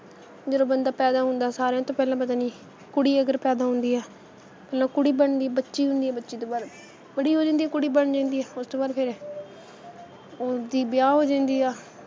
ਜਦੋ ਬੰਦਾ ਪੈਦਾ ਹੁੰਦਾ, ਸਾਰਿਆਂ ਤੋਂ ਪਹਿਲਾਂ ਪਤਾ ਨਹੀਂ, ਕੁੜੀ ਅਗਰ ਪੈਦਾ ਹੁੰਦੀ ਏ, ਪਹਿਲਾਂ ਕੁੜੀ ਬਣਦੀ, ਬੱਚੀ ਹੁੰਦੀ ਏ ਬੱਚੀ ਤੋਂ ਬਾਅਦ ਬੜੀ ਹੋ ਜਾਂਦੀ ਆ ਕੁੜੀ ਬਣ ਜਾਂਦੀ ਆ ਉਸ ਤੋਂ ਬਾਅਦ ਫੇਰ ਉਸਦੀ ਵਿਆਹ ਹੋ ਜਾਂਦੀ ਆ।